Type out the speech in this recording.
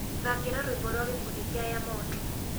thakira rwimbo rwa gikundi kia yamoto